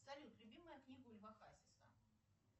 салют любимая книга у льва хасиса